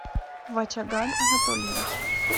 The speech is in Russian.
вачаган анатольевич